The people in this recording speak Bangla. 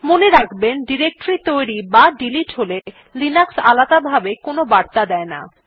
মনে রাখবেন ডিরেক্টরী তৈরী বা ডিলিট হলে লিনাক্স আলাদাভাবে কোনো বার্তা দেয় না